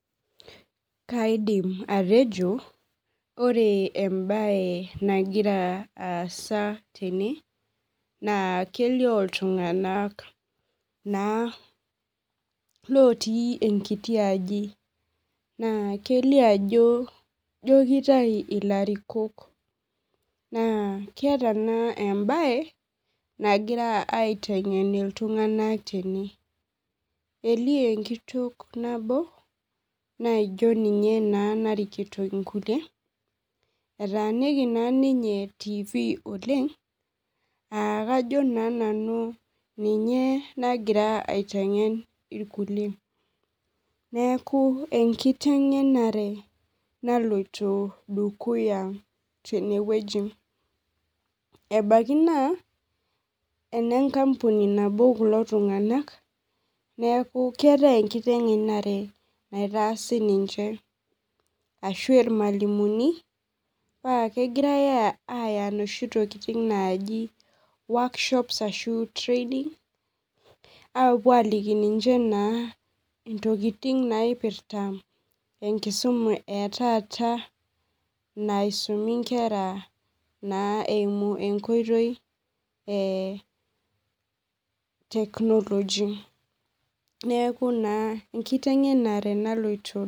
Kaidim atejo ore embae nagira aasa tene na kelio ltunganak na lotii enkiti aji na kelio ajo na keeta embae nagira aitengen ltunganak tenebelio enkitok nabo naijo ninye narikito nkulie etaaniki tifi oleng na kajo nanu ninye nagira aitengen nkulie neaku enkitengenare naloito dukuya tenewueji ebaki na lenkampuni nabo kulo tunganak neaku keetae enkitengenare naloito dukuya ashu irmalimuni na kegirai aya noshi tokitin naji Worksop, training apuo aliki ninche ntokitin naipirta enkisuma etaa naisumi nkera eimu enkoitoi e technology neaku enkitengenare naloito.